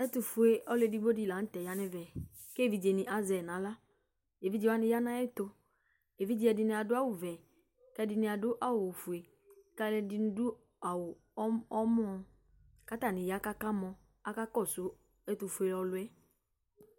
ɛtofue ɔlo edigbo di lantɛ ya no ɛvɛ ko evidze ni azɛ yi no ala evidze wani ya no ayɛto evidze wani ado awu vɛ ko ɛdini ado awu ofue ko alo ɛdini ado awu ɔwlɔmɔ ko atani ya ko aka mɔ aka kɔso ɛtofue ɔloɛ